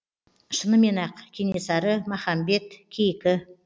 шынымен ақ кенесары махамбет кейкі